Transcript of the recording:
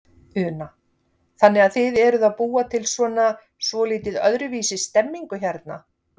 Una: Þannig að þið eruð að búa til svona svolítið öðruvísi stemningu hérna?